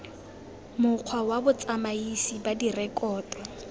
mokgwa wa botsamaisi ba direkoto